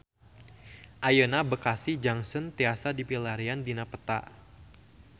Ayeuna Bekasi Junction tiasa dipilarian dina peta